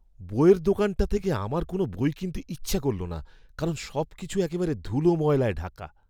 বইয়ের দোকানটা থেকে আমার কোনো বই কিনতে ইচ্ছা করল না কারণ সবকিছু একেবারে ধুলো ময়লায় ঢাকা!